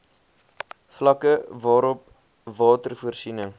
vlakke waarop watervoorsiening